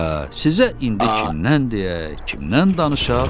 Hə, sizə indi kimdən deyək, kimdən danışaq?